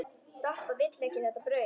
Doppa vill ekki þetta brauð.